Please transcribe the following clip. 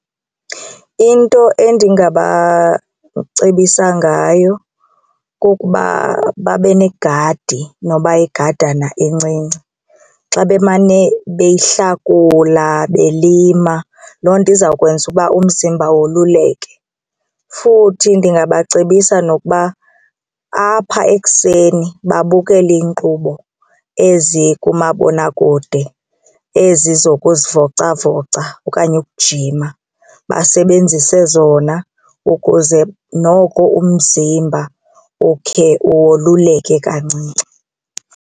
Into endingabacebisa ngayo kukuba babe negadi noba yigadana encinci xa bemane beyihlakula belima loo nto izawukwenza uba umzimba woluleke. Futhi ndingabacebisa nokuba apha ekuseni babukele iinkqubo ezi kumabonakude ezi zokuzivocavoca okanye ukujima basebenzise zona ukuze noko umzimba ukhe ululeke kancinci.